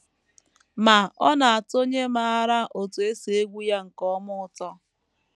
Ma ọ na - atọ onye maara otú e si egwu ya nke ọma ụtọ.